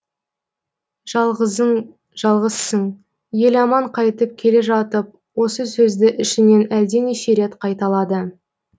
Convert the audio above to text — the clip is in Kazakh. жалғызың жалғызсың еламан қайтып келе жатып осы сөзді ішінен әлденеше рет қайталады